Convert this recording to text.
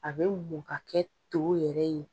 A bɛ muɔ kɛ to yɛrɛ ye.